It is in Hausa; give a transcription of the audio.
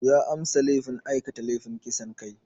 Ya amsa laifin aikata laifin kisan kai.